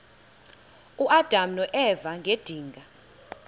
uadam noeva ngedinga